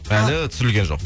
әлі түсірілген жоқ